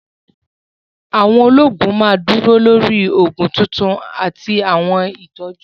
Àwọn olóògùn ma dúró lórí oògùn tuntun àti àwọn ìtọ́jú